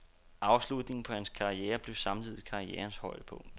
Afslutningen på hans karriere blev samtidig karrierens højdepunkt.